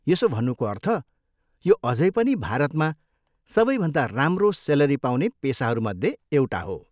यसो भन्नुको अर्थ, यो अझै पनि भारतमा सबैभन्दा राम्रो सेलरी पाउने पेसाहरूमध्ये एउटा हो।